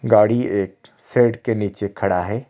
गाड़ी एक शेड के नीचे खड़ा है।